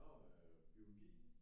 Nå øh biologi?